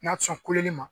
N'a sɔn kuleli ma